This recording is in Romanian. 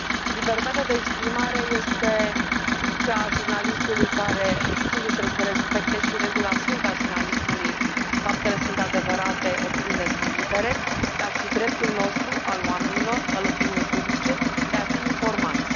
Libertatea de exprimare este cea a jurnalistului care, sigur, trebuie să respecte și regula sfântă a jurnalismului faptele sunt adevărate, opiniile sunt libere dar și dreptul nostru, al oamenilor, al opiniei publice, de a fi informați.